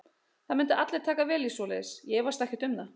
Það myndu allir taka vel í svoleiðis, ég efast ekkert um það.